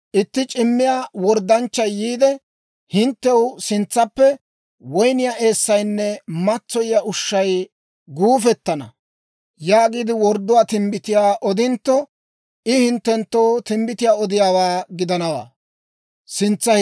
«Itti c'immiyaa worddanchchay yiide, ‹Hinttew sintsaappe woyniyaa eessaynne matsoyiyaa ushshay guufettana› yaagiide wordduwaa timbbitiyaa odintto, I hinttenttoo timbbitiyaa odiyaawaa gidana.